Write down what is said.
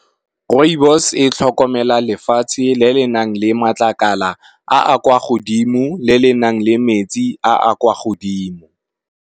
Rooibos e tlhokomela lefatshe le le nang le matlakala a a kwa godimo le le nang le metsi a a kwa godimo.